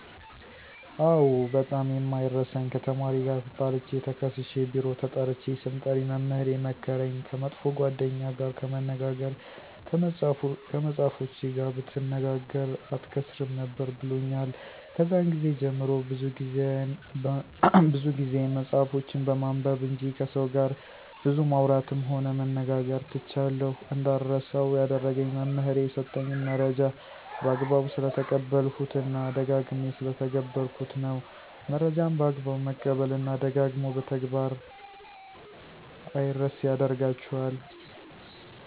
አዎ ! በጣም የማይረሳኝ ከተማሪ ጋር ተጣልቸ ተከሠስሸ ቢሮ ተጠርቸ ስምጠሪ መምህሬ የመከረኝ። ከመጥፎ ጓደኛ ጋር ከመነጋገር ከመፅሐፎችህ ጋር ብትነጋገ አትከሠስም ነበር ብሎኛል። ከዛን ግዜ ጀምሬ ብዙ ጊዜየን መፅሐፎችን በማንበብ እንጅ ከሠው ጋር ብዙ ማውራትም ሆነ መነጋገር ትቻለሁ። እንዳረሳው ያደረገኝ መምህሬ የሠጠኝን መረጃ በአግባቡ ስለተቀበልሁት እና ደጋግሜ ስለተገበርሁት ነው። መረጃን በአግባቡ መቀበል እና ደጋግሞ በተግበር አምረሴ ያደርጋቸዋል።